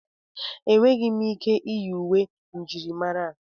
Enweghị m ike iyi uwe njirimara a.